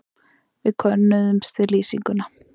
Við könnuðumst við lýsinguna.